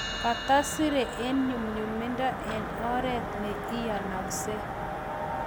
Katasire eng nyumnyumindo eng oret ne iyanakse.